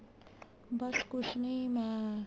ਬੱਸ ਕੁੱਛ ਨਹੀਂ ਮੈਂ